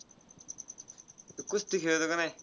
तू कुस्ती खेळतो का नाय?